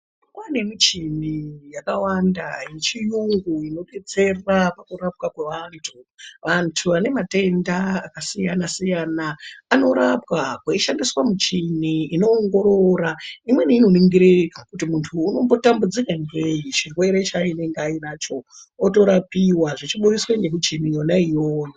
Kwane michini yakawanda michini inodetsera kurapwa kwevantu vantu vane matenda akasiyana siyana anorapwa kweishandiswa michini inoongorora kuti muntu anombotambudzika ngei chirwere chaainacho otorapiwa zveibudiswa ngemichini yona iyoyo.